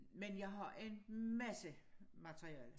Men jeg har en masse materiale